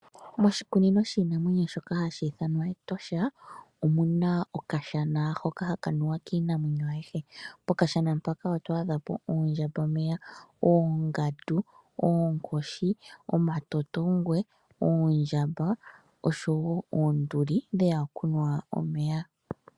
Moshikunino shiinamwenyo shono hashi ithanwa Etosha omuna okashana hoka haka nuwa kiinamwenyo ayihe. Okashana hoka oondjambameya, oongandu, oonkoshi, oondjamba, omatotongwe oshowo oonduli dheya kunwa omeya.